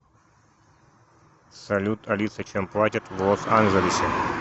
салют алиса чем платят в лос анджелесе